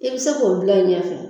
I bɛ se k'o bila i ɲɛfɛ